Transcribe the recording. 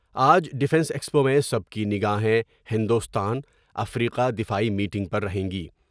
آج defence expo میں سب کی نگاہیں ہندوستان ، افریقہ دفاعی میٹنگ پر رہیں گی ۔